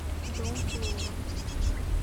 дом плова